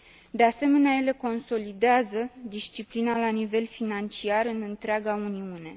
De asemenea, ele consolidează disciplina la nivel financiar în întreaga Uniune.